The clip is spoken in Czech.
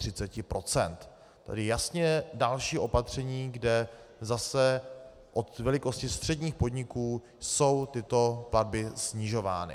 Tedy jasně další opatření, kde zase od velikosti středních podniků jsou tyto platby snižovány.